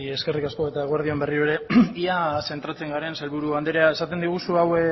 eskerrik asko eta eguerdi on berriro ere ia zentratzen garen sailburu andrea esaten diguzu